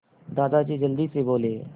दादाजी जल्दी से बोले